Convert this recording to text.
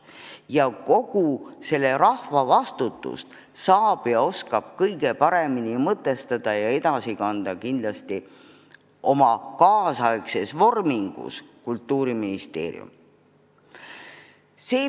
Ja kogu seda rahva vastutust saab ja oskab kõige paremini mõtestada ja edasi kanda Kultuuriministeerium oma kaasaegses vormingus.